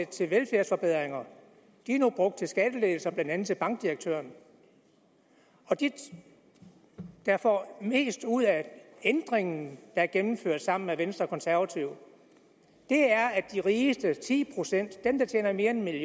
til velfærdsforbedringer nu er brugt til skattelettelser blandt andet til bankdirektøren og de der får mest ud af ændringen der gennemføres sammen med venstre og konservative er de rigeste ti procent dem der tjener mere end